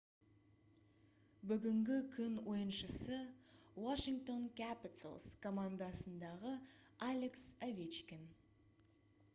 бүгінгі күн ойыншысы washington capitals командасындағы алекс овечкин